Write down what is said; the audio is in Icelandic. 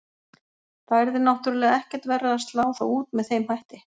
Það yrði náttúrulega ekkert verra að slá þá út með þeim hætti.